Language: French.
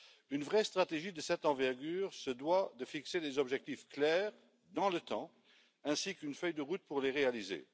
Une vraie stratégie de cette envergure se doit de fixer des objectifs clairs dans le temps, ainsi qu'une feuille de route pour les réaliser.